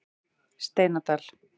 Steinadal